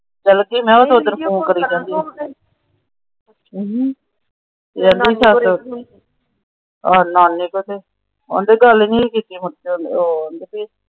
ਗਲਤ ਸੀ ਮੈ ਓਧਰ ਫੋਨ ਕਰੀ ਆ। ਆਉਂਦੀ ਗੱਲ ਨਹੀਂ ਸੀ ਕੀਤੀ।